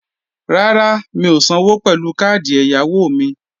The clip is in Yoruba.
Rárá, mi ò sanwó pẹ̀lú káàdì ẹ̀yáwó mi